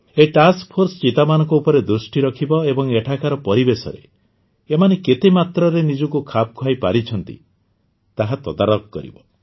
ଏହି task force ଚିତାମାନଙ୍କ ଉପରେ ଦୃଷ୍ଟି ରଖିବ ଏବଂ ଏଠାକାର ପରିବେଶରେ ଏମାନେ କେତେ ମାତ୍ରାରେ ନିଜକୁ ଖାପ ଖୁଆଇ ପାରିଛନ୍ତି ତାହା ତଦାରଖ କରିବ